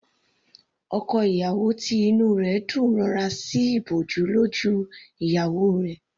Ọkọ ìyàwó tí inú rẹ̀ dùn rọra sí ìbòjú lójú ìyàwó rẹ̀.